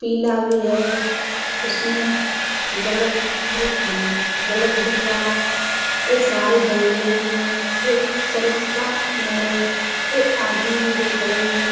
पीला भी है उसमें बल्ब बल्ब नहीं हैं। बल्ब दिख रहा है। यह सारे जंगले भी है एक का पेड़ है यह आदमी भी दो खड़े हुए --